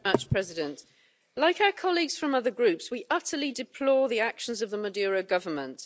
Mr President, like our colleagues from other Groups, we utterly deplore the actions of the Maduro government.